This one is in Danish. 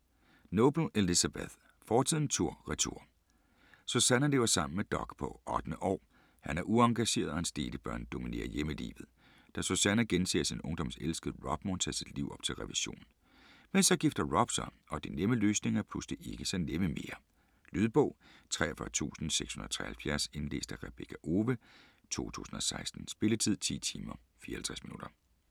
Noble, Elizabeth: Fortiden tur/retur Susannah lever sammen med Doug på 8. år. Han er uengageret, og hans delebørn dominerer hjemmelivet. Da Susannah genser sin ungdoms elskede, Rob, må hun tage sit liv op til revision. Men så gifter Rob sig, og de nemme løsninger er pludselig ikke så nemme mere. Lydbog 43673 Indlæst af Rebekka Owe, 2016. Spilletid: 10 timer, 54 minutter.